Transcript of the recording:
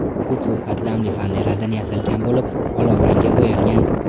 U ko‘p qatlamli faneradan yasalgan bo‘lib, olovrangga bo‘yalgan.